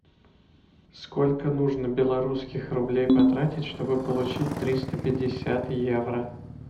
сколько нужно белорусских рублей потратить чтобы получить триста пятьдесят евро